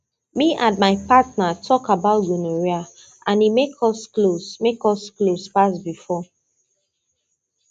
me and my partner talk about gonorrhea and e make us close make us close pass before